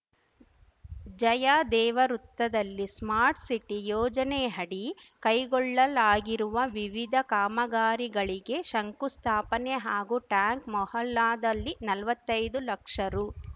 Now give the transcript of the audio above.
ಜಯದೇವ ವೃತ್ತದಲ್ಲಿ smart city ಯೋಜನೆಹಡಿ ಕೈಗೊಳ್ಳಲಾಗಿರುವ ವಿವಿಧ ಕಾಮಗಾರಿಗಳಿಗೆ ಶಂಕುಸ್ಥಾಪನೆ ಹಾಗೂ ಟ್ಯಾಂಕ್‌ ಮೊಹಲ್ಲಾದಲ್ಲಿ ನಲ್ವತ್ತೈದು ಲಕ್ಷ ರು